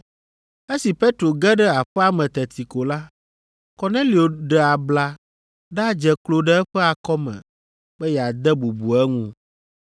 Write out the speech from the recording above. Esi Petro ge ɖe aƒea me teti ko la, Kornelio ɖe abla ɖadze klo ɖe eƒe akɔme be yeade bubu eŋu.